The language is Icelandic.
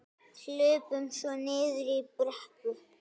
Hlupum svo niður í brekku.